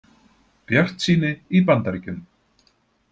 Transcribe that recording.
Bjartsýni í Bandaríkjunum